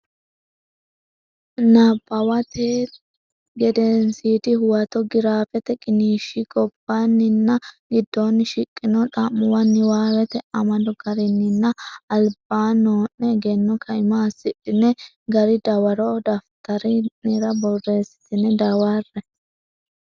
Nabbawate Gedensiidi Huwato giraafete qiniishshi gobbaanninna giddonni shiqqino xa muwa niwaawete amado garinninna alba noo ne egenno kaima assidhine gari dawaro daftari nera borreessitine dawarre.